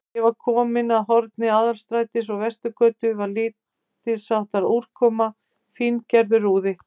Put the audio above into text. Þegar ég var kominn að horni Aðalstrætis og Vesturgötu, var lítilsháttar úrkoma, fíngerður úði.